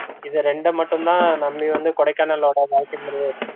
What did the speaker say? இத ரெண்டமட்டுந்தா நம்பி வந்து கொடைக்கானளோட வாழ்க்கைமுறையே இருக்கு